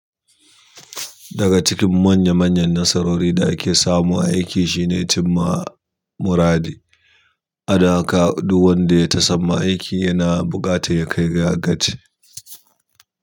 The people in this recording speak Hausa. Daga cikin manya manyan nasarori da ake samu a aiki shine cin ma muradi. A da ka ɗu wanda ya ta samu aiki yana buƙata ya kai ga gaci.